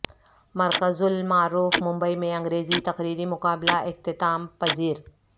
مرکز المعارف ممبئی میں انگریزی تقریری مقابلہ اختتام پذیر